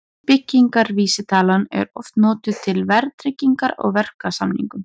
Byggingarvísitalan er oft notuð til verðtryggingar á verksamningum.